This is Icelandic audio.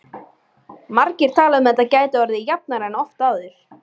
Margir tala um að þetta gæti orðið jafnara en oft áður.